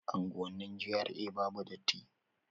Unguwannin GRA babu datti